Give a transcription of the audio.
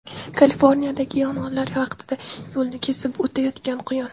Kaliforniyadagi yong‘inlar vaqtida yo‘lni kesib o‘tayotgan quyon.